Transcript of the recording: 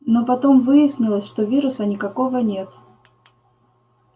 но потом выяснилось что вируса никакого нет